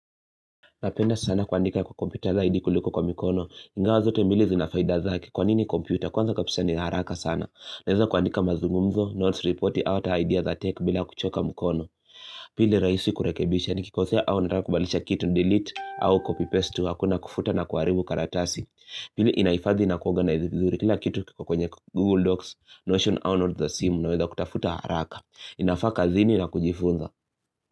Napenda sana kuandika kwa kompyuta zaidi kuliko kwa mikono. Ingawa zote mbili zina faida zake kwa nini kompyuta. Kwanza kabisa ni haraka sana. Naeza kuandika mazungumzo, notes report, au hata idea za tech bila kuchoka mikono. Pili rahisi kurekebisha nikikosea au nataka kubadilisha kitu nidelete au copy paste tu. Hakuna kufuta na kuharibu karatasi. Pili inahifadhi na kuorganize vizuri kila kitu kwa kwenye Google Docs, Notion au notes za simu unaweza kutafuta haraka. Inafaa jazini na kujifunza.